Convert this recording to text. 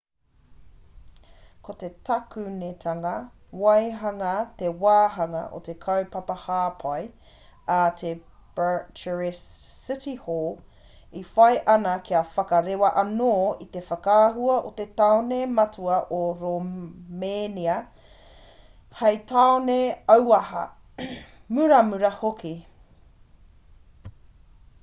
ko te takunetanga waihanga he wāhanga o te kaupapa hāpai a te bucharest city hall e whai ana kia whakarewa anō i te whakaahua o te tāone matua o romēnia hei tāone auaha muramura hoki